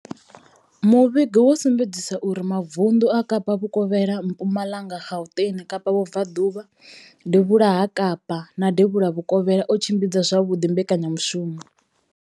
Muvhigo wo sumbedzisa uri mavundu a Kapa Vhukovhela, Mpumalanga, Gauteng, Kapa Vhubvaḓuvha, Devhula ha Kapa na Devhula Vhukovhela o tshimbidza zwavhuḓi mbekanyamushumo.